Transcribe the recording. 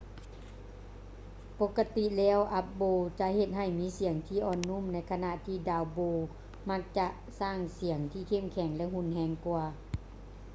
ປົກກະຕິແລ້ວ up-bow ຈະເຮັດໃຫ້ມີສຽງທີ່ອ່ອນນຸ້ມ ໃນຂະນະທີ່ down-bow ມັກຈະສ້າງສຽງທີ່ເຂັ້ມແຂງ ແລະ ຮຸນແຮງກວ່າ